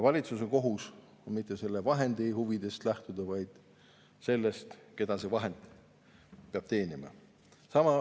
Valitsuse kohus on lähtuda mitte selle vahendi huvidest, vaid sellest, keda see vahend peab teenima.